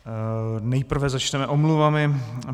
Nejprve začneme omluvami.